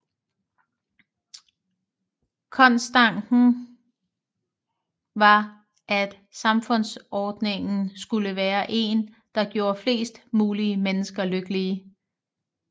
Kongstanken var at samfundsordningen skulle være en der gjorde flest mulige mennesker lykkelige